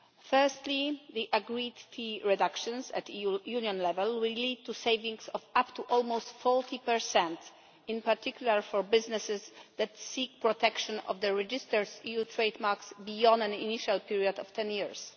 Firstly, the agreed fee reductions at European Union level will lead to savings of up to almost 40, in particular for businesses that seek protection of the registered EU trademarks beyond an initial period of ten years.